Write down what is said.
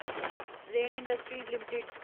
rain industries limited